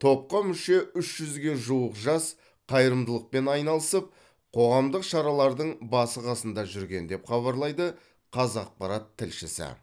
топқа мүше үш жүзге жуық жас қайырымдылықпен айналысып қоғамдық шаралардың басы қасында жүрген деп хабарлайды қазақпарат тілшісі